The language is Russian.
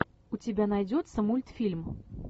у тебя найдется мультфильм